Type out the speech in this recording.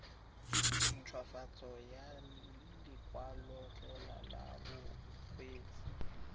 nthwafatso ya lekwalotetla la bokgweetsi